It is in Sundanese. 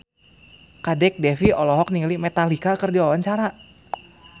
Kadek Devi olohok ningali Metallica keur diwawancara